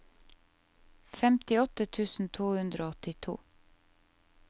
femtiåtte tusen to hundre og åttito